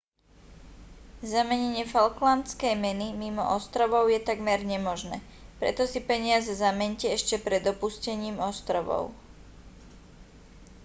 zamenenie falklandskej meny mimo ostrovov je takmer nemožné preto si peniaze zameňte ešte pred opustením ostrovov